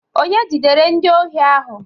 Onye jidere ndị ohi ahụ?